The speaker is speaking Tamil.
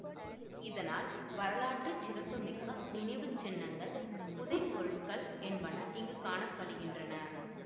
இதனால் வரலாற்று சிறப்பு மிக்க நினைவு சின்னங்கள் புதை பொருட்கள் என்பன இங்கு காண படுகின்றன